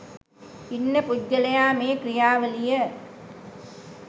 ඉන්න පුද්ගලයා මේ ක්‍රියාවලිය